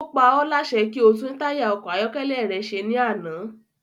Ó pa ọ́ láṣẹ kí o tún táyà ọkọ̀ ayọ́kẹ́lẹ́ rẹ se ní àná